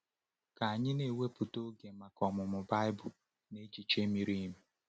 Ka anyị na-ewepụta oge maka ọmụmụ Baịbụl na echiche miri emi.